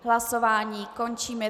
Hlasování končím.